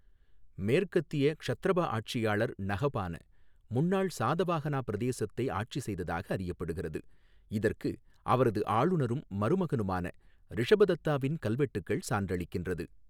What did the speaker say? மேற்கத்திய க்ஷத்ரபா ஆட்சியாளர் நஹபான முன்னாள் சாதவாஹனா பிரதேசத்தை ஆட்சி செய்ததாக அறியப்படுகிறது, இதற்கு அவரது ஆளுநரும் மருமகனுமான ரிஷபதத்தாவின் கல்வெட்டுகள் சான்றளிக்கின்றது.